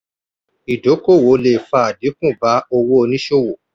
ìdókòwò le fa àdínkù bá owó oníṣòwò.